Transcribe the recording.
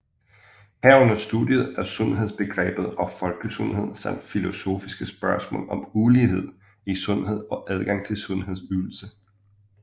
Herunder studiet af sundhedsbegrebet og folkesundhed samt filosofiske spørgsmål om ulighed i sundhed og adgang til sundhedsydelser